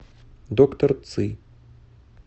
доктор ци